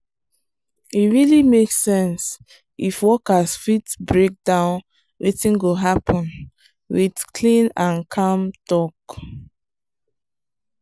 e really make sense if workers fit break down wetin go happen with clean and calm talk.